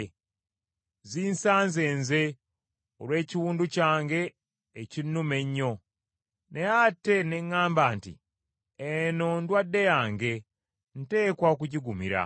Zinsanze nze olw’ekiwundu kyange ekinnuma ennyo. Naye ate ne ŋŋamba nti, “Eno ndwadde yange, nteekwa okugigumira.”